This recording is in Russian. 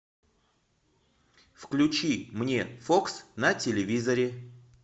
включи мне фокс на телевизоре